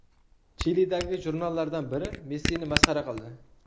Chilidagi jurnallardan biri Messini masxara qildi.